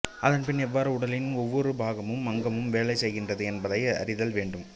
அதன் பின் எவ்வாறு உடலின் ஒவ்வொரு பாகமும் அங்கமும் வேலை செய்கின்றது என்பதை அறிதல் வேண்டும்